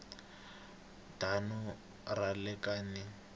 damu ra le ka n